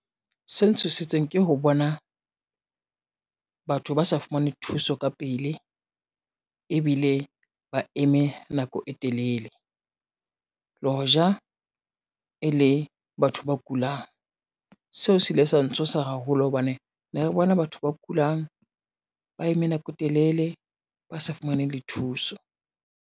Se ntshositseng ke ho bona, batho ba sa fumane thuso ka pele ebile ba eme nako e telele. Le hoja e le batho ba kulang, seo se ile sa ntshosa haholo hobane ne re bona batho ba kulang ba eme nako e telele, ba sa fumane le thuso.